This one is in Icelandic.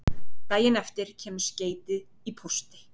Daginn eftir kemur skeytið í pósti